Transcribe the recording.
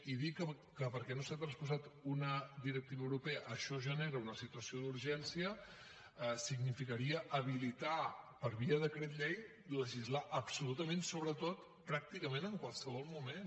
i dir que perquè no s’ha transposat una directiva europea això genera una situació d’urgència significaria habilitar per via decret llei legislar absolutament sobre tot pràcticament en qualsevol moment